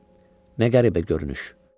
Nə qəribə görünüş!